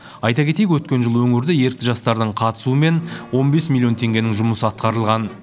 айта кетейік өткен жылы өңірде ерікті жастардың қатысуымен он бес миллион теңгенің жұмысы атқарылған